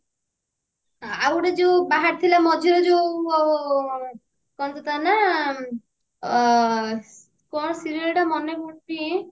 ଆଉ ଗୋଟେ ଯଉ ବାହାରିଥିଲା ମଝିରେ ଯଉ କଣ ତ ତା ନାଁ ଆଁ କଣ serial ଟା ମାନେ ପଡୁନି